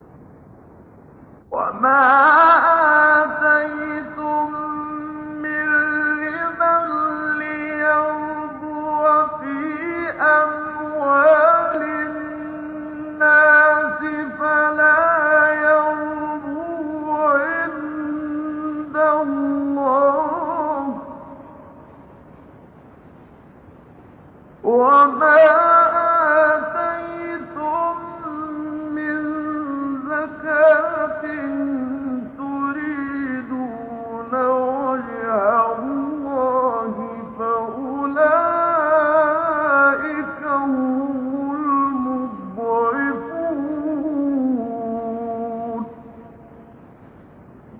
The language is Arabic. وَمَا آتَيْتُم مِّن رِّبًا لِّيَرْبُوَ فِي أَمْوَالِ النَّاسِ فَلَا يَرْبُو عِندَ اللَّهِ ۖ وَمَا آتَيْتُم مِّن زَكَاةٍ تُرِيدُونَ وَجْهَ اللَّهِ فَأُولَٰئِكَ هُمُ الْمُضْعِفُونَ